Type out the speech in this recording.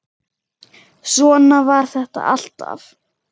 Svona var þetta alltaf.